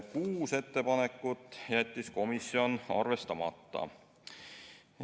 Kuus ettepanekut jättis komisjon arvestamata.